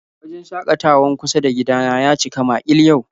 Wajen shakatawan kusa da gida na ya cika makil yau